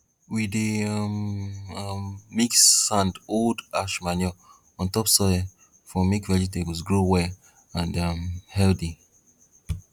we dey um um mix sand old ash manure on top soil for make vegetables grow well and um healthy